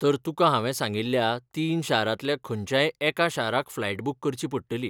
तर तुकां हांवें सांगिल्ल्या तीन शारांतल्या खंयच्याय एका शाराक फ्लायट बूक करची पडटली.